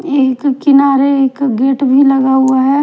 एक किनारे एक गेट भी लगा हुआ है।